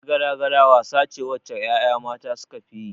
Yar gala-gala wasa ce wacce 'ya'ya mata sukafi yi.